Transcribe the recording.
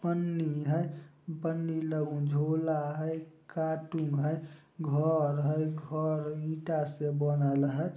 पन्नी हइ पन्नी लइ झोला हइ कार्टून हइ घर हइ घर ईटा से बनल हइ।